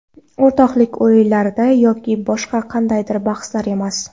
O‘rtoqlik o‘yinlarida yoki boshqa qandaydir bahslarda emas.